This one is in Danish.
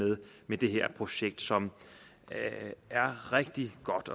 med det her projekt som er rigtig godt